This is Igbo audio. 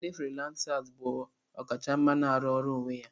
Ndi firilansasi bụ ọkachamara na-arụ ọrụ onwe ya.